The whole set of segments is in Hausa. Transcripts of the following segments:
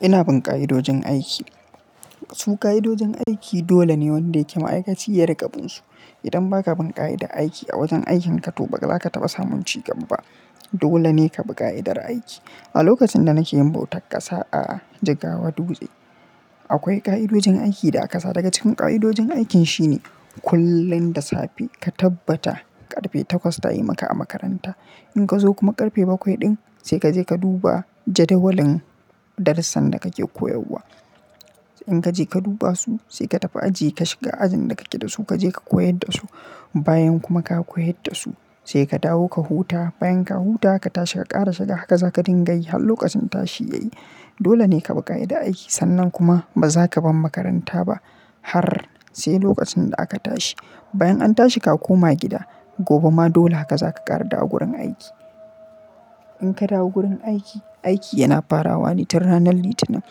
Ina bin ƙa'idojin aiki. Su ƙa'idojin aiki dole ne wanda yake ma'aikaci ya riƙa binsu. Idan ba ka bin ƙa'idar aiki a wajen aikin ka to ba za ka taɓa samun cigaba ba. Dole ne ka bi ƙa'idar aiki. A lokacin da nake yin bautar ƙasa, a Jgawa Dutse. Akwai ƙa'idojin aiki da aka sa daga cikin ƙa'idojin aikin shine kullum da safe ka tabbata ƙarfe takwas ta yi maka a makaranta. In ka zo kuma ƙarfe bakwai ɗin sai ka je ka duba jadawalin darussan da kake koyarwa. In ka je ka duba su sai ka tafi aji ka shiga ajin da kake da su ka je ka koyar da su. Bayan kuma ka koyar da su sai ka dawo ka huta. Bayan ka huta aka tashi ka ƙara shiga haka za ka dinga yi har lokacin tashi yayi. Dole ne ka bi ƙa'idar aiki sannan kuma ba za ka bar makaranta ba har sai lokacin da aka tashi. Bayan an tashi ka koma gida gobe ma dole haka za ka ƙara dawowa gurin aiki. In ka dawo gurin aiki, aiki yana farawa ne tun ranar Litinin.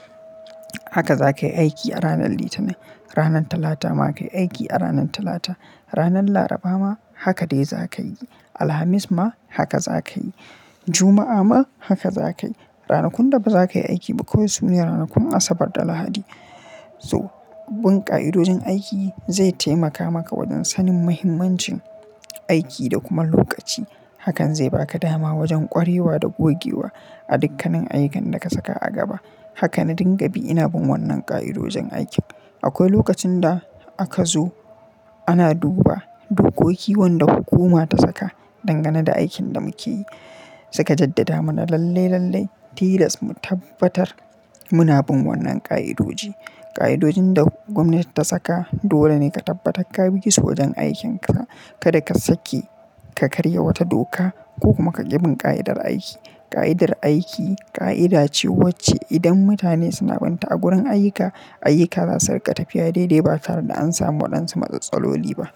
Haka za ka yi aiki a ranar Litinin. Ranar Talata ma ka yi aiki a ranar Talata. Ranar Laraba ma haka dai za ka yi. Alhamis ma haka za ka yi. Juma'a ma haka za ka yi. Ranakun da ba za ka yi aiki ba kawai su ne ranakun Asabar da Lahadi. So, bin ƙa'idojin aiki zai taimaka maka wajen sanin mahimmancin aiki da kuma lokaci. Hakan zai baka dama wajen ƙwarewa da gogewa a dukkanin ayyukan da ka saka a gaba. Haka na dinga bi ina bin wannan ƙa'idojin aikin. Akwai lokacin da aka zo ana duba dokoki wanda hukuma ta saka dangane da aikin da muke yi. Suka jaddada mana lalle lalle tilas mu tabbatar muna bin wannan ƙa'idoji. Ƙa'idojin da gwamnati ta saka dole ne ka tabbatar ka bi su wajen aikin ka. Kada ka sake ka karya wata doka ko kuma ka ƙi bin ƙa'idar aiki. Ƙa'idar aiki ƙa'ida ce wacce idan mutane suna bin ta a gurin ayyuka, ayyuka za su riƙa tafiya daidai ba tare da an samu waɗansu matsatstsaloli ba.